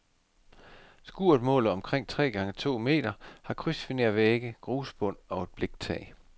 Skuret måler omkring tre gange to meter, har krydsfinervægge, grusbund og et bliktag.